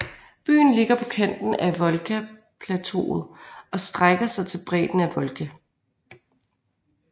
Byen ligger på kanten af Volgaplateauet og strækker sig til bredden af Volga